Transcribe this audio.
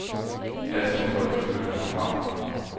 Altså må folk flytte herfra.